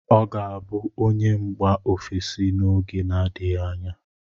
Ọ ga-abụ onye mgba ofesi n'oge na-adịghị anya.